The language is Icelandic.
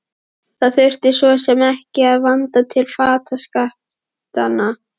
Það þurfti svo sem ekki að vanda til fataskiptanna.